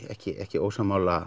ekki ekki ósammála